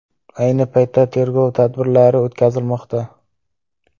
Ayni paytda tergov tadbirlari o‘tkazilmoqda.